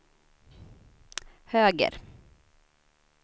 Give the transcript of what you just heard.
höger